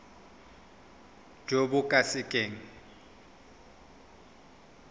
jo bo ka se keng